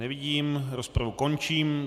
Nevidím, rozpravu končím.